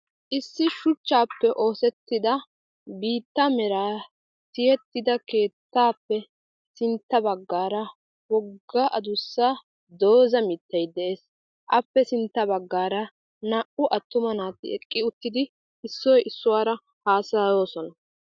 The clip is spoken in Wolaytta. Issi shuchchaappe oosettida biitta meraa tiyettida keettaappe sintta baggaara wogga adussa dooza mittay de'ees. Appe sintta baggaara naa"u attuma naati eqqi uttidi issoy issuwaara haasayosona.